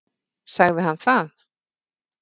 Sagði hann það?